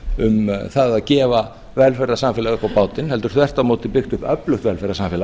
það að gefa velferðarsamfélag upp á bátinn heldur þvert á móti byggt upp öflugt velferðarsamfélag